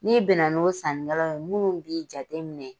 N'i bɛ na n'o saninkɛlaw ye minnu b'i jateminɛ.